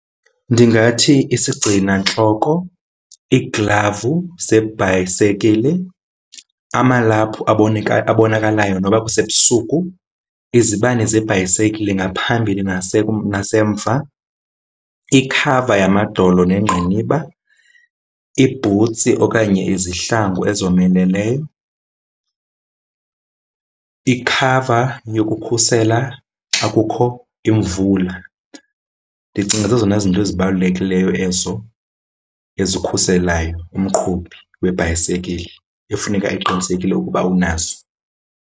Ndingathi isigcinantloko, iiglavu zebhayisekile, amalaphu abonakalayo noba kusebusuku, izibane zebhayisekile ngaphambili nasemva, ikhava yamadolo neengqiniba, iibhutsi okanye izihlangu ezomeleleyo, ikhava yokukhusela xakukho imvula. Ndicinga zezona zinto ezibalulekileyo ezo ezikhuselayo umqhubi webhayisikile efuneka eqinisekile ukuba unazo.